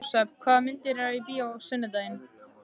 Jósep, hvaða myndir eru í bíó á sunnudaginn?